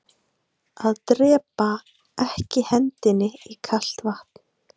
Að drepaa ekki hendinni í kalt vatn